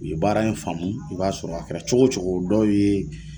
U ye baara in faamu i b'a sɔrɔ a kɛra cogo cogo dɔw ye.